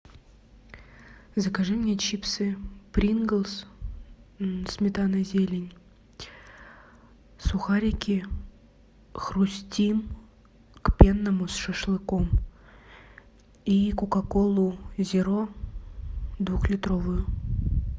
закажи мне чипсы принглс сметана и зелень сухарики хрустим к пенному с шашлыком и кока колу зеро двухлитровую